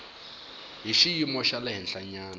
hi xiyimo xa le henhlanyana